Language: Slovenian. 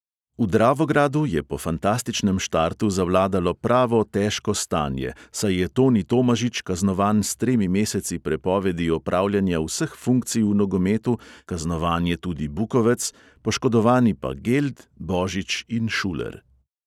V dravogradu je po fantastičnem štartu zavladalo pravo težko stanje, saj je toni tomažič kaznovan s tremi meseci prepovedi opravljanja vseh funkcij v nogometu, kaznovan je tudi bukovec, poškodovani pa geld, božič in šuler.